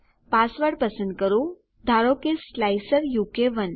password પસંદ કરો ધારો કે સ્લાઇસર ઉ કે 1